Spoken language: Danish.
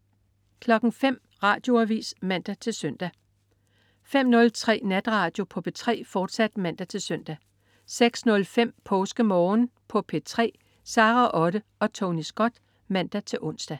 05.00 Radioavis (man-søn) 05.03 Natradio på P3, fortsat (man-søn) 06.05 PåskeMorgen på P3. Sara Otte og Tony Scott (man-ons)